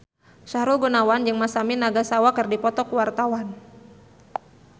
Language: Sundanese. Sahrul Gunawan jeung Masami Nagasawa keur dipoto ku wartawan